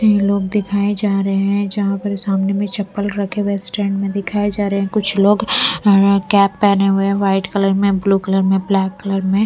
ये लोग दिखाए जा रहे हैं जहाँ पर सामने में चप्पल रखे हुए स्टैंड में दिखाए जा रहे हैं कुछ लोग कैप पहने हुए हैं वाइट कलर में ब्लू कलर में ब्लैक कलर में--